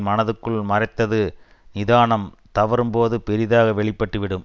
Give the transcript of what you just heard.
மனத்துக்குள் மறைத்தது நிதானம் தவறும்போது பெரிதாக வெளி பட்டு விடும்